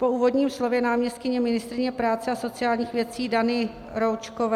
Po úvodním slově náměstkyně ministryně práce a sociálních věcí Dany Roučkové...